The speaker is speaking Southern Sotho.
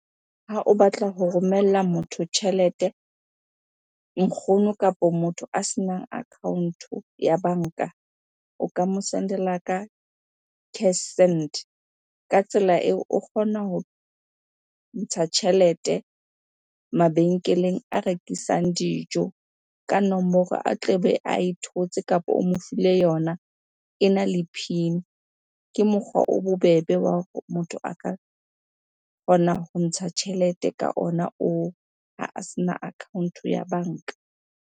Ha o batla ho romella motho tjhelete, nkgono kapo motho a senang account-o ya banka. O ka mo sendela ka cash send. Ka tsela eo, o kgona ho ntsha tjhelete mabenkeleng a rekisang dijo ka nomoro a tlebe ae thotse kapa o mo file yona, ena le PIN. Ke mokgwa o bobebe wa hore motho a ka kgona ho ntsha tjhelete ka ona oo ha a sena account-o ya banka.